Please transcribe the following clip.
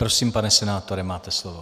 Prosím, pane senátore, máte slovo.